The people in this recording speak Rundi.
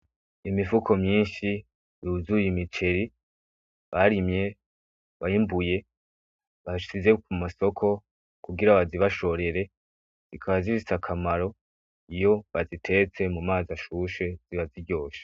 Imifuko myinshi yuzuye imiceri barimye bimbuye bashize kumasoko kugira bazibashorere zikaba zifise akamaro iyo bazitetse mumazi ashushe ziba ziryoshe